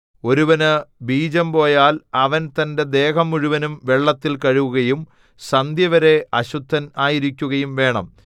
ഒരുവന് ബീജം പോയാൽ അവൻ തന്റെ ദേഹം മുഴുവനും വെള്ളത്തിൽ കഴുകുകയും സന്ധ്യവരെ അശുദ്ധൻ ആയിരിക്കുകയും വേണം